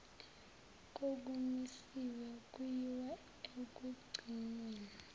kokumisiwe kuyiwa ekugcinweni